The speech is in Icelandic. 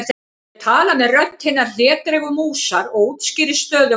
Ég tala með rödd hinnar hlédrægu músar og útskýri stöðu mála.